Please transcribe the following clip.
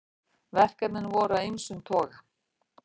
Verkefnin voru af ýmsum toga